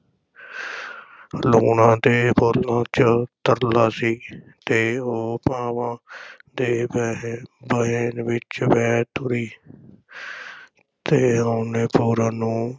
ਲੂਣਾਂ ਦੇ ਬੋਲਾਂ ’ਚ ਤਰਲਾ ਸੀ ਤੇ ਉਹ ਭਾਵਾਂ ਦੇ ਵਹਿ~ ਵਹਿਣ ਵਿਚ ਵਹਿ ਤੁਰੀ ਤੇ ਉਹਨੇ ਪੂਰਨ ਨੂੰ